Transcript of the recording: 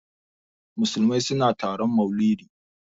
Musulmai suna taron maulidi.